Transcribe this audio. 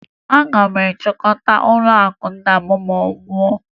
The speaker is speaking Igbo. Aga m achịkọta ụlọakụ nna m ma ọ nwụọ